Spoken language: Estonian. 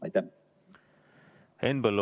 Aitäh!